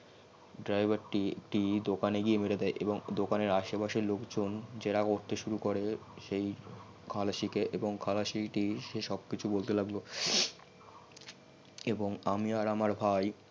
driver একটি দোকানে গিয়ে পরে যাই এবং দোকানের আশেপাশের লোক জন জেরা করতে সুরু করে সেই খালাসিটি কে এবং খালাসি টি সব কিছু বলতে লাগলো এবং আমি আর আমার ভাই